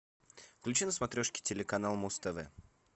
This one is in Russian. включи на смотрешке телеканал муз тв